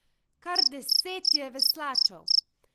Kar deset je veslačev.